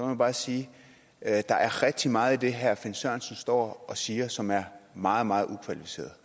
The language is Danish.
jeg bare sige at der er rigtig meget i herre finn sørensen står og siger som er meget meget ukvalificeret